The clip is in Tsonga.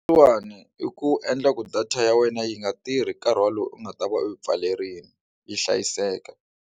I ku endla ku data ya wena yi nga tirhi nkarhi wolowo u nga ta va u yi pfalerile yi hlayiseka.